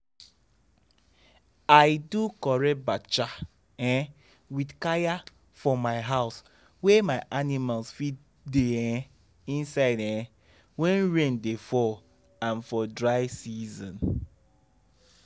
i do correct bacha um with kaya for my house wey my animals fit da um inside um when rain da fall and for dry season